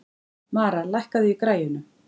Mara, lækkaðu í græjunum.